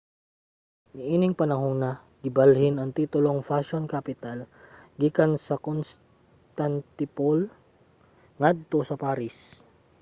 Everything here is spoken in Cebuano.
niining panahona gibalhin ang titulong fashion capital gikan sa constantinople ngadto sa paris